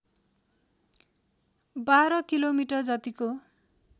१२ kilometre जतिको